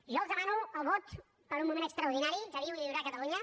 jo els demano el vot per un moment extraordinari que viu i viurà catalunya